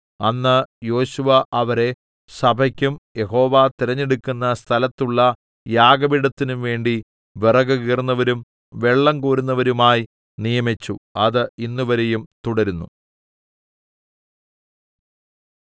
അന്ന് യോശുവ അവരെ സഭയ്ക്കും യഹോവ തിരഞ്ഞെടുക്കുന്ന സ്ഥലത്തുള്ള യാഗപീഠത്തിനും വേണ്ടി വിറകുകീറുന്നവരും വെള്ളംകോരുന്നവരുമായി നിയമിച്ചു അത് ഇന്നുവരെയും തുടരുന്നു